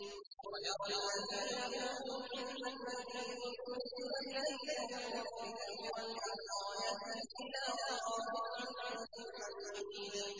وَيَرَى الَّذِينَ أُوتُوا الْعِلْمَ الَّذِي أُنزِلَ إِلَيْكَ مِن رَّبِّكَ هُوَ الْحَقَّ وَيَهْدِي إِلَىٰ صِرَاطِ الْعَزِيزِ الْحَمِيدِ